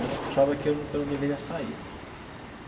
Ela achava que eu não que eu não deveria sair.